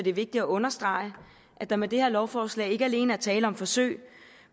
er vigtigt at understrege er at der med det her lovforslag ikke alene er tale om forsøg